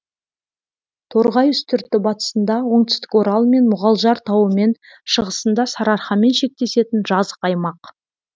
торғай үстірті батысында оңтүстік орал мен мұғалжар тауымен шығысында сарыарқамен шектесетін жазық аймақ